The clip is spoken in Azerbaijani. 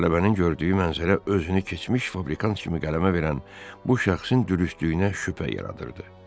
Tələbənin gördüyü mənzərə özünü keçmiş fabrikant kimi qələmə verən bu şəxsin dürüstlüyünə şübhə yaradırdı.